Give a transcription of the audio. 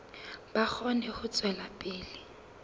ba kgone ho tswela pele